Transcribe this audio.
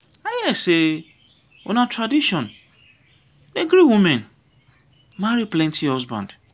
i hear sey una tradition dey gree women marry plenty husband.